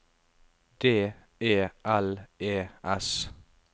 D E L E S